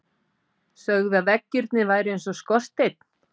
Sögðu að veggirnir væru eins og skorsteinn.